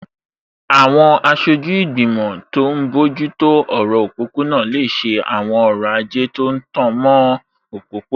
Àwọn aṣojú ìgbìmọ̀ tó n bójú tó ọ̀rọ̀ òpópó-ọ̀nà lè ṣe àwọn ọrọ̀ ajé tó tan mọ́ òpópó-ọ̀nà